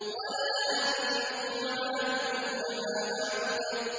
وَلَا أَنتُمْ عَابِدُونَ مَا أَعْبُدُ